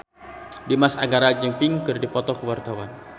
Dimas Anggara jeung Pink keur dipoto ku wartawan